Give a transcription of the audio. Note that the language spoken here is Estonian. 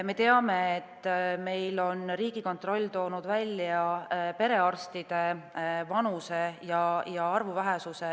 Me teame, et Riigikontroll on toonud välja perearstide kõrge vanuse ja arvu vähesuse.